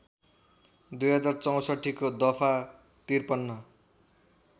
२०६४ को दफा ५३